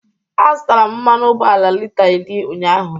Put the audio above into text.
Azụtara m mmanụ ụgbọala lita iri ụnyaahụ.